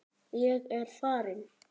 Ég er farinn.